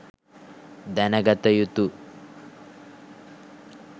දැනගත යුතු